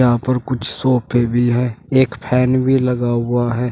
यहां पर कुछ सोफे भी है एक फैन भी लगा हुआ है।